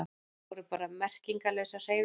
Þetta voru bara merkingarlausar hreyfingar.